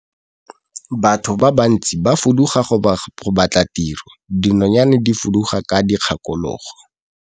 Batho ba bantsi ba fuduga go batla tiro, dinonyane di fuduga ka dikgakologo.